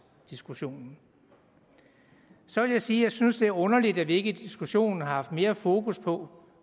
diskussionen så vil jeg sige at jeg synes det er underligt at vi ikke i diskussionen har haft mere fokus på